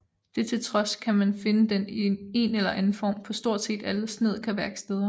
Det til trods kan man finde den i en eller anden form på stort set alle snedkerværksteder